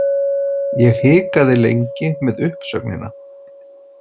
Ég hikaði lengi með uppsögnina.